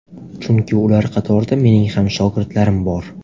Chunki ular qatorida mening ham shogirdlarim bor.